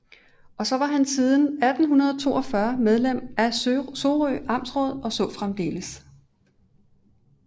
Også var han siden 1842 medlem af Sorø Amtsråd og så fremdeles